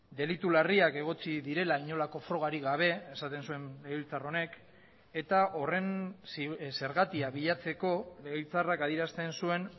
delitu larriak egotzi direla inolako frogarik gabe esaten zuen legebiltzar honek eta horren zergatia bilatzeko legebiltzarrak adierazten zuen